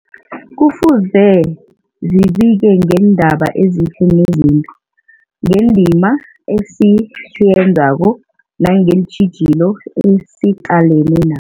Kufuze zibike ngeendaba ezihle nezimbi, ngendima esiyenzako nangeentjhijilo esiqalene na